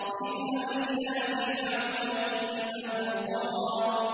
اذْهَبْ إِلَىٰ فِرْعَوْنَ إِنَّهُ طَغَىٰ